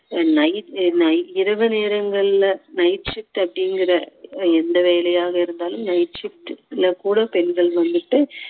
நை~ நை இரவு நேரங்களில் night shift அப்படிங்கிற எந்த வேலையாக இருந்தாலும் night shift ல கூட பெண்கள் வந்துட்டு